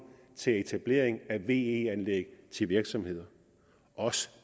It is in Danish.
til etablering af ve anlæg til virksomheder også